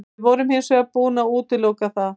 Við vorum hins vegar búin að útiloka það.